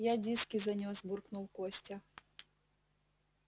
я диски занёс буркнул костя